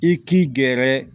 I k'i gɛrɛ